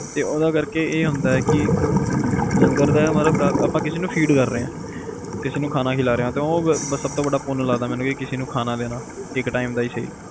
ਤੇ ਓਹਦਾ ਕਰਕੇ ਇਹ ਹੁੰਦਾ ਆ ਇਹ ਕਿ ਲੰਗਰ ਦਾ ਮਤਲਬ ਆਪਾ ਕਿਸੇ ਨੂੰ feed ਕਰ ਰਹੇ ਆ ਕਿਸੇ ਨੂੰ ਖਾਣਾ ਖਿਲਾ ਰਹੇ ਓਹਦਾ ਸਬ ਤੋਂ ਵੱਡਾ ਪੁੰਨ ਲੱਗਦਾ ਕਿਸੇ ਨੂੰ ਖਾਣਾ ਦੇਣਾ ਇੱਕ time ਦਾ ਈ ਸਹੀ